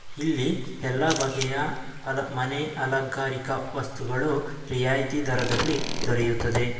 ಇಲ್ಲಿ ಎಲ್ಲಾ ಬಗೆಯ ಅ ಮನೆ ಅಲಂಕಾರಿಕ ವಸ್ತುಗಳು ರಿಯಾಯಿತಿ ದರದಲ್ಲಿ ದೊರೆಯುತ್ತದೆ.